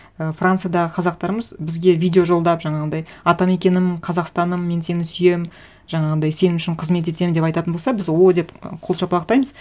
і франциядағы қазақтарымыз бізге видео жолдап жаңағындай атамекенім қазақстаным мен сені сүйемін жаңағындай сен үшін қызмет етемін деп айтатын болса біз ооо деп қол шапалақтаймыз